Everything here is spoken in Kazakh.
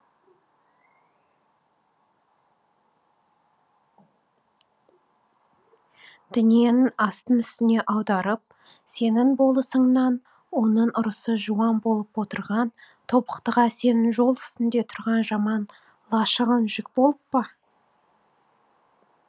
дүниенің астын үстіне аударып сенің болысыңнан оның ұрысы жуан болып отырған тобықтыға сенің жол үстінде тұрған жаман лашығың жүк болып па